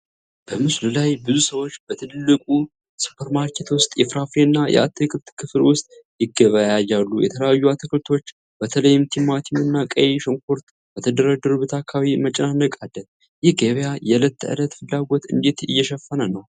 በምስሉ ላይ ብዙ ሰዎች በትልቅ ሱፐርማርኬት ውስጥ የፍራፍሬና የአትክልት ክፍል ውስጥ ይገበያያሉ። የተለያዩ አትክልቶች፣ በተለይም ቲማቲምና ቀይ ሽንኩርት፣ በተደረደሩበት አካባቢ መጨናነቅ አለ። ይህ ገበያ የዕለት ተዕለት ፍላጎትን እንዴት እየሸፈነ ነው?